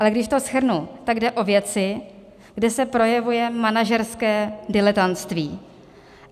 Ale když to shrnu, tak jde o věci, kde se projevuje manažerské diletantství.